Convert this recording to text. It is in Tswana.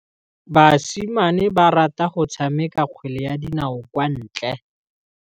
Basimane ba rata go tshameka kgwele ya dinaô kwa ntle.